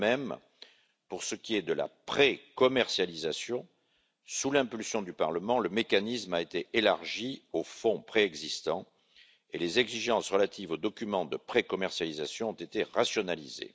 De même, pour ce qui est de la pré commercialisation, sous l'impulsion du Parlement le mécanisme a été élargi aux fonds préexistants et les exigences relatives aux documents de pré commercialisation ont été rationalisées.